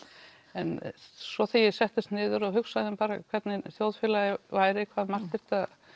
en svo þegar ég settist niður og hugsaði um hvernig þjóðfélagið væri hve margt þyrfti að